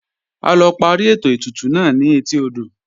A lọ parí ètò ètùtù náà ni etí odò